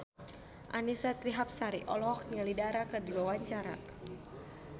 Annisa Trihapsari olohok ningali Dara keur diwawancara